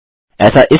ऐसा इसलिए